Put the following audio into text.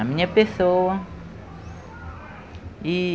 A minha pessoa.